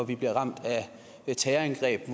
vi blev ramt af et terrorangreb